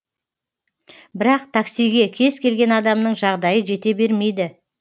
бірақ таксиге кез келген адамның жағдайы жете бермейді